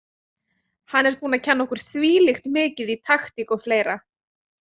Hann er búinn að kenna okkur þvílíkt mikið í taktík og fleira.